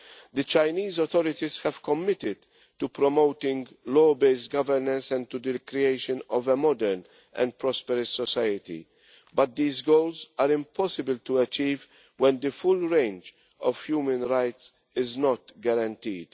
The Chinese authorities have committed to promoting law based governance and to the creation of a modern and prosperous society, but these goals are impossible to achieve when the full range of human rights is not guaranteed.